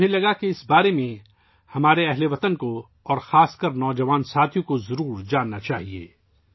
میں نے محسوس کیا کہ ہمارے ہم وطنوں اور خاص کر ہمارے نوجوان دوستوں کو اس کے بارے میں جاننا چاہیے